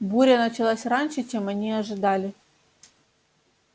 буря началась раньше чем они ожидали